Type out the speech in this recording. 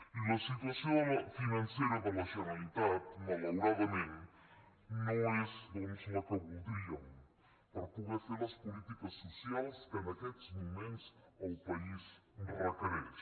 i la situació financera de la generalitat malauradament no és la que voldríem per poder fer les polítiques socials que en aquests moments el país requereix